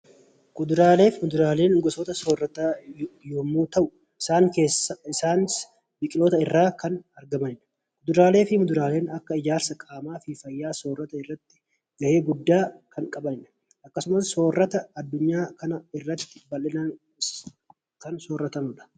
Kuduraalee fi muduraaleen gosoota soorataa yommuu ta'u, Isaanis biqiloota irraa kan argamanidha. Kuduraalee fi muduraaleen Akka ijaarsa qaamaa fi fayyaa soorata irratti gahee guddaa kan qabanidha. Akkasumas soorata addunyaa kanaarrati baay'inaan kan sooratamanidha.